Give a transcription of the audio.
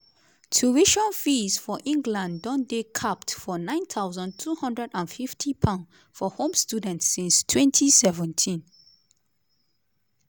tuition fees for england don dey capped for £9250 for home students since 2017.